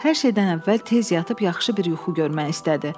Hər şeydən əvvəl tez yatıb yaxşı bir yuxu görmək istədi.